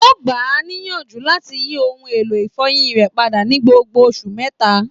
O gba ọ niyanju lati yi oun elo ifọyin rẹ pada ni gbogbo oṣu mẹta.